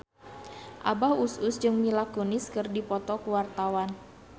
Abah Us Us jeung Mila Kunis keur dipoto ku wartawan